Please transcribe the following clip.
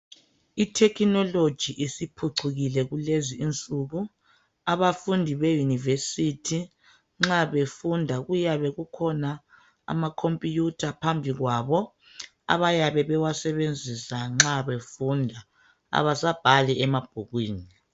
Ithekhinoloji isiphucukile kulezinsuku. Abafundi beyunivesithi nxa befunda kuyabe kukhona amakhompuyutha phambi kwabo abayabe bewasebenzisa nxa befunda. Abasabhali emabhukwini.